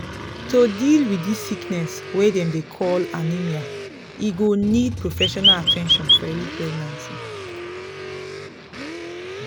to deal wit this sickness wey dem dey call anemia e go need professional at ten tion for early pregnancy